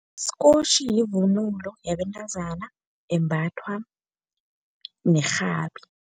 Isikotjhi yivunulo yabentazana embathwa nerhabi.